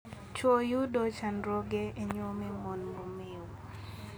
Chwo yudo chandruoge e nyuomo mon momeo.